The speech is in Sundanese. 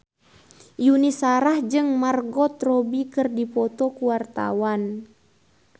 Yuni Shara jeung Margot Robbie keur dipoto ku wartawan